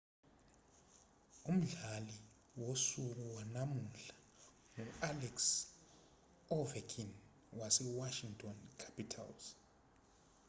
umdlali wosuku wanamuhla ngu-alex ovechkin wewashington capitals